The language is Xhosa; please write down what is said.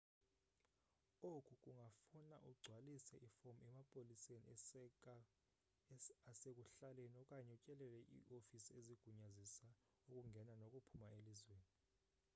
oku kungafuna ugcwalise ifomu emapoliseni asekuhlaleni okanye utyelele iifofisi ezigunyazisa ukungena nokuphuma elizweni